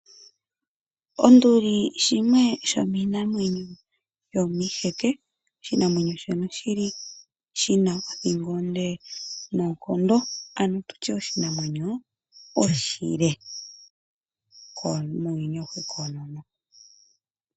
Onduli yimwe yomiinamwenyo yomiiheke . Oshinamwenyo shono shili shina othingo onde noonkondo ano tutye oshinamwenyo oshile muuyuni awuhe koonono.